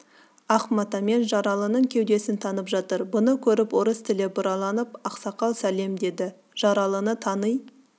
ақ матамен жаралының кеудесін таңып жатыр бұны көріп орыс тілі бұралып ақсақал салем деді жаралыны таңи